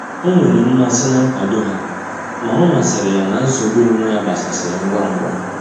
Ọ nwere mmasị na nkwado ha, ma omasiri ya na nsogbu onwe ya gbasasịrị ngwa ngwa.